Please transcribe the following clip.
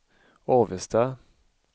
Avesta